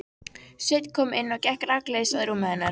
Sveinn kom inn og gekk rakleiðis að rúmi hennar.